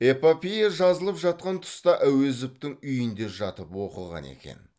эпопея жазылып жатқан тұста әуезовтің үйінде жатып оқыған екен